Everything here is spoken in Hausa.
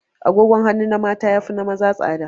Agogon hanu na mata ya fi na maza tsada